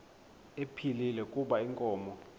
ephilile kuba inkomo